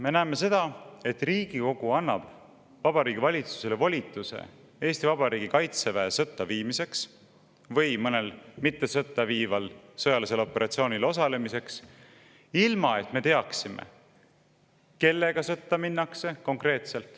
Me näeme seda, et Riigikogu annab Vabariigi Valitsusele volituse Eesti Vabariigi kaitseväe sõtta viimiseks või mõnel mitte sõtta viival sõjalisel operatsioonil osalemiseks ilma, et me konkreetselt teaksime, kellega sõtta minnakse.